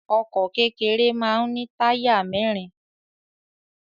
Ọkọ̀ kékeré máa ń ní táyà mẹ́rin.